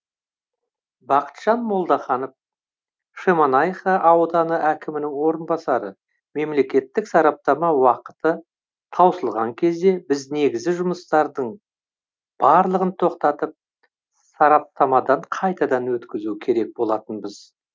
бақытжан молдаханов шемонайха ауданы әкімінің орынбасары мемлекеттік сараптама уақыты таусылған кезде біз негізі жұмыстардың барлығын тоқтатып сараптамадан қайтадан өткізу керек болатынбыз